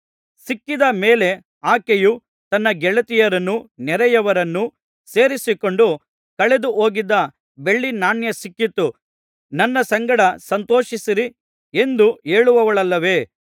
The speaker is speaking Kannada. ಸಿಕ್ಕಿದ ಮೇಲೆ ಆಕೆಯು ತನ್ನ ಗೆಳತಿಯರನ್ನೂ ನೆರೆಹೊರೆಯವರನ್ನೂ ಸೇರಿಸಿಕೊಂಡು ಕಳೆದು ಹೋಗಿದ್ದ ಬೆಳ್ಳಿನಾಣ್ಯ ಸಿಕ್ಕಿತು ನನ್ನ ಸಂಗಡ ಸಂತೋಷಿಸಿರಿ ಎಂದು ಹೇಳುವಳಲ್ಲವೇ